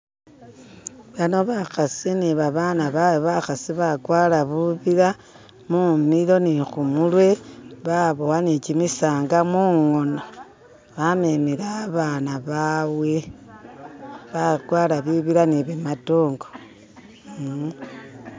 Bano bakhasi ni babana bawe bakhasi bakwara bubila mumilo ni khumurwe babuwa ni chimisanda mungono bamemile abaana baawe bakwara bibila ni bimadongo eem